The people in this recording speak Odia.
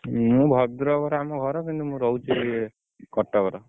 ମୁଁ ଭଦ୍ରକ ରେ ଆମ ଘର କିନ୍ତୁ ମୁଁ ରହୁଚି କଟକ ରେ।